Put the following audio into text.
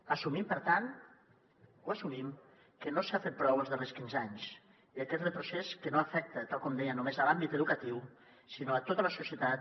assumim per tant ho assumim que no s’ha fet prou els darrers quinze anys i aquest retrocés que no afecta tal com deia només l’àmbit educatiu sinó a tota la societat